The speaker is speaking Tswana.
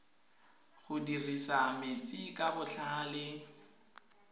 go dirisa metsi ka botlhale